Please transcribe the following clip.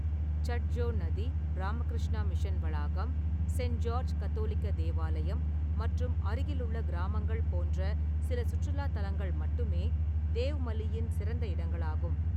சட்ஜோ நதி, ராமகிருஷ்ணா மிஷன் வளாகம், Saint George கத்தோலிக்க தேவாலயம் மற்றும் அருகிலுள்ள கிராமங்கள் போன்ற சில சுற்றுலா தலங்கள் மட்டுமே தியோமாலியின் சிறந்த இடங்களாகும்.